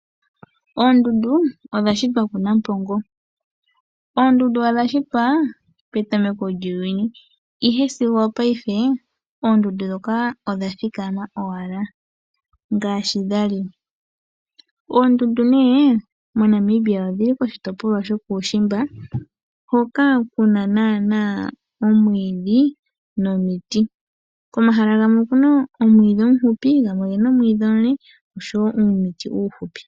Oondundu odha shitwa kuNampongo. Oondundu odha shitwa petameko lyuuyuni ihe sigo opayife oondundu dhoka odhathikama owala ngashi dhali. Oondundu nee moNamibia odhili koshitopolwa shokuushimba hoka kuna naana omwiidhi nomiti. Komahala gamwe okuna omwiidhi omushupi gamwe ogena omwiidhi omule osho woo uumiti uushupi.